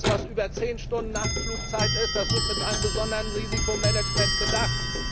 Alles was über zehn Stunden Nachtflugzeit geht, wird mit einem besonderen Risikomanagement bedacht.